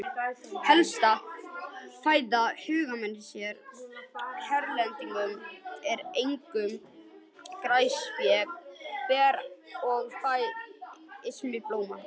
Helsta fæða hagamúsa hérlendis eru einkum grasfræ, ber og fræ ýmissa blóma.